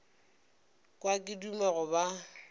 kwa ke duma go ba